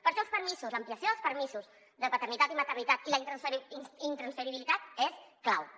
per això l’ampliació dels permisos de paternitat i maternitat i la intransferibilitat són claus